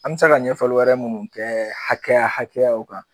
An mɛ se ka ɲɛfɔli wɛrɛ minnu kɛ hakɛya hakɛyaw kan